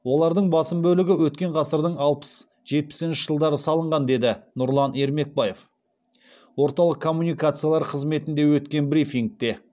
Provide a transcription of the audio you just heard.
олардың басым бөлігі өткен ғасырдың алпыс жетпісінші жылдары салынған деді нұрлан ермекбаев орталық коммуникациялар қызметінде өткен брифингте